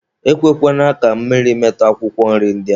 E kwekwana ka mmiri metụ akwụkwọ nri ndị a.